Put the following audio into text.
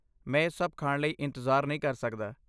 ਮੈਂ ਇਹ ਸਭ ਖਾਣ ਲਈ ਇੰਤਜ਼ਾਰ ਨਹੀਂ ਕਰ ਸਕਦਾ।